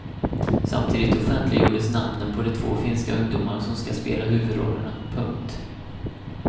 Samtidigt offentliggjordes namnen på de två finska ungdomar som ska spela huvudrollerna. punkt